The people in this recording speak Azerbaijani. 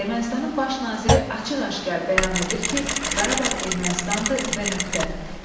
Ermənistanın baş naziri açıq-aşkar bəyan edir ki, Qarabağ Ermənistandır və nöqtə.